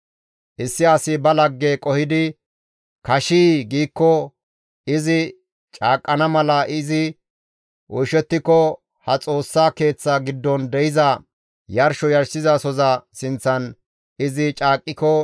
«Issi asi ba lagge qohidi kashii giikko, izi caaqqana mala izi oyshettiko ha Xoossa Keeththa giddon de7iza yarsho yarshizasoza sinththan izi caaqqiko,